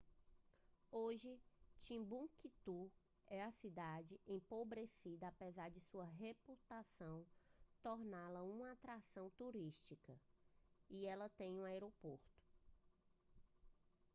hoje timbuktu é uma cidade empobrecida apesar de sua reputação torná-la uma atração turística e ela tem um aeroporto